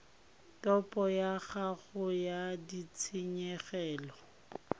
topo ya gago ya ditshenyegelo